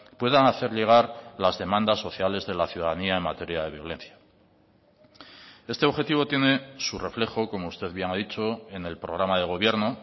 puedan hacer llegar las demandas sociales de la ciudadanía en materia de violencia este objetivo tiene su reflejo como usted bien ha dicho en el programa de gobierno